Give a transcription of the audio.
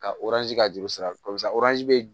Ka ka juru sira kɔsɛbɛ bɛ